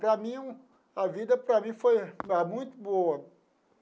Para mim um, a vida para mim foi muito boa.